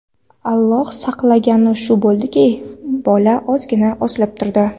Alloh saqlagani shu bo‘ldiki, bola ozgina osilib turdi.